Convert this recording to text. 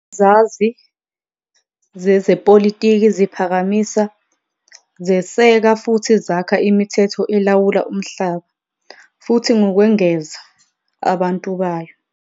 Izazi zezepolitiki ziphakamisa, zeseka futhi zakha imithetho elawula umhlaba, futhi ngokwengeza, abantu bayo.